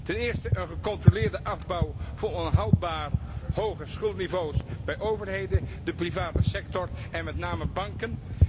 Ten eerste, een gecontroleerde afbouw van onhoudbaar hoge schuldenniveaus bij overheden, de private sector, en met name banken.